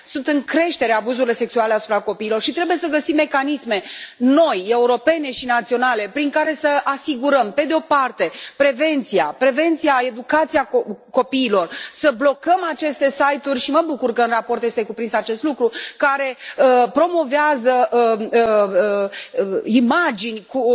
Sunt în creștere abuzurile sexuale asupra copiilor și trebuie să găsim mecanisme noi, europene și naționale, prin care să asigurăm, pe de o parte, prevenția, educația copiilor, să blocăm aceste site uri și mă bucur că în raport este cuprins acest lucru care promovează imagini cu